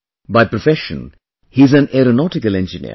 By profession he is an aeronautical engineer